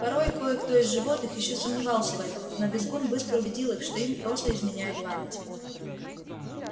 порой кое-кто из животных ещё сомневался в этом но визгун быстро убедил их что им просто изменяет память